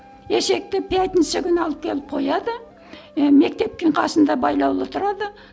есекті пятница күні алып келіп қояды і мектептің қасында байлаулы тұрады